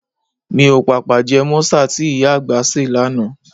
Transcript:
Mi ò pàpà jẹ mọ́sà tí ìyá àgbà ṣe lánàá